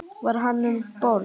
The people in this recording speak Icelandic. Var hann um borð?